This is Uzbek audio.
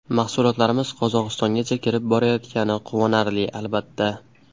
Mahsulotlarimiz Qozog‘istongacha kirib borayotgani quvonarli, albatta”.